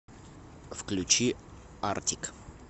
включи артик